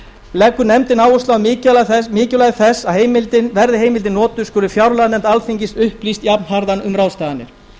leggur nefndin áherslu á mikilvægi þess að verði heimildin notuð skuli fjárlaganefnd alþingis upplýst jafnharðan um ráðstafanir